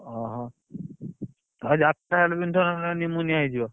ଓହୋ ଆଉ ଯାତା ଫତା ପିନ୍ଧୁଥିବ ନହେଲେ ନିମୋନିଆ ହେଇଯିବ।